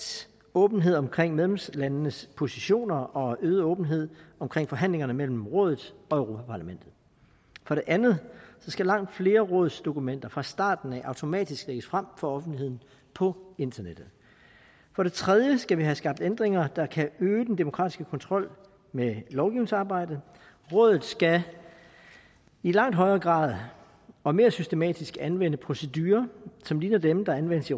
åbenhed omkring medlemslandenes positioner og øget åbenhed omkring forhandlingerne mellem rådet og europa parlamentet for det andet skal langt flere af rådets dokumenter fra starten automatisk lægges frem for offentligheden på internettet for det tredje skal vi have skabt ændringer der kan øge den demokratiske kontrol med lovgivningsarbejdet rådet skal i langt højere grad og mere systematisk anvende procedurer som ligner dem der anvendes i